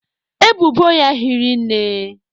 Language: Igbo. Ebubo ya hiri nne.